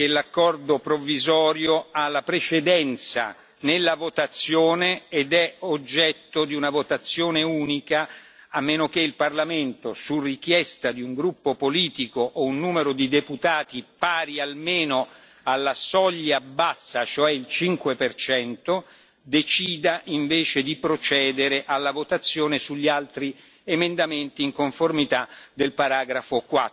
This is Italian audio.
l'accordo provvisorio ha la precedenza nella votazione ed è oggetto di una votazione unica, a meno che il Parlamento, su richiesta di un gruppo politico o un numero di deputati pari almeno alla soglia bassa, cioè il 5 percento, decida invece di procedere alla votazione sugli altri emendamenti in conformità del paragrafo